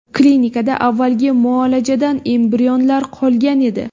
Klinikada avvalgi muolajadan embrionlar qolgan edi.